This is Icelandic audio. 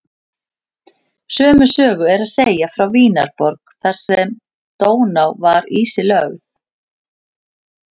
Sömu sögu er að segja frá Vínarborg þar sem Dóná var ísilögð.